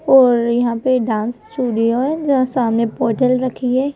और यहां पे डांस स्टूडियो है जहां सामने पोर्टल रखी है।